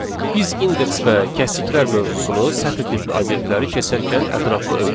Biz indeks və kəsiklər mövzusunu sətr tipli obyektləri keçərkən ətraflı öyrəndik.